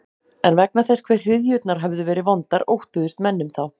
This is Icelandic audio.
En vegna þess hve hryðjurnar höfðu verið vondar óttuðust menn um þá.